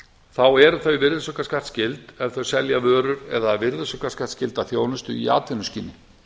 þá eru þau virðisaukaskattsskyld ef þau selja vörur eða virðisaukaskattsskylda þjónustu í atvinnuskyni